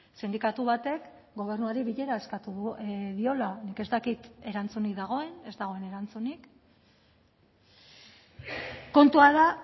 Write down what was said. sindikatu batek gobernuari bilera eskatu diola nik ez dakit erantzunik dagoen ez dagoen erantzunik kontua da